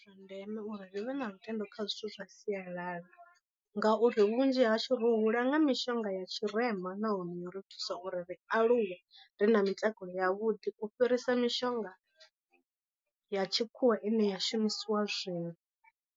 Ndi zwa ndeme uri ri vhe na lutendo kha zwithu zwa sialala, ngauri vhunzhi hashu ro hula nga mishonga ya tshirema nahone yo ri thusa uri ri aluwe ri na mitakalo ya vhuḓi u fhirisa mishonga ya tshikhuwa ine ya shumisiwa zwino.